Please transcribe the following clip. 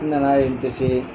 N nana ye n tɛ see